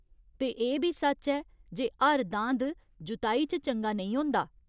ते एह् बी सच ऐ जे हर दांद जुताई च चंगा नेईं होंदा।